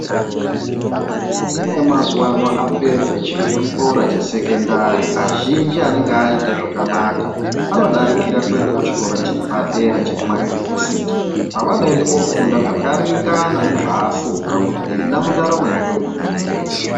Ana emazuwa ano apedza chikora chesekondari, azhinji anenge aite zvakanaka, anodarikira kuenda kuchikora chepadera chekuma yunivhesiti, kwavanoenda koofunda zvakaringana nezvaafunga kuti ena mundaramo yake unode kuitei.